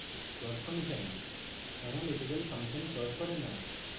plot function analytical function plot করে না